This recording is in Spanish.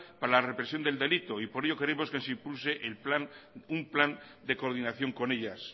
para la represión del delito y por ello queremos que se impulse un plan de coordinación con ellas